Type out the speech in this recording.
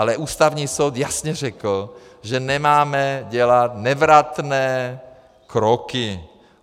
Ale Ústavní soud jasně řekl, že nemáme dělat nevratné kroky.